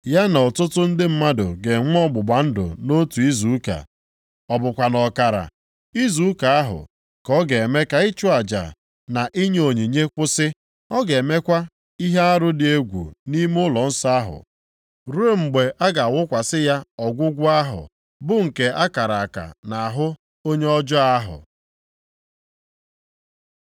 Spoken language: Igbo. Ya na ọtụtụ ndị mmadụ ga-enwe ọgbụgba ndụ nʼotu ‘izu ụka,’ ọ bụkwa nʼọkara + 9:27 Maọbụ, na nkera izu ụka ahụ, ka ọ ga-eme ka ịchụ aja na inye onyinye kwụsị. Ọ ga-emekwa ihe arụ dị egwu nʼime ụlọnsọ ahụ, ruo mgbe a ga-awụkwasị ya ọgwụgwụ ahụ bụ nke akara aka nʼahụ onye ọjọọ ahụ.”